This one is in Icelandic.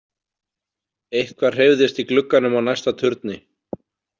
Eitthvað hreyfðist í glugganum á næsta turni.